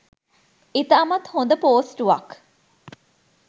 ඉතාමත් හොද පෝස්ටුවක්